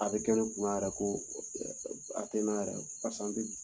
A bɛ kɛ ne kun na yɛrɛ ko a tɛ n na yɛrɛ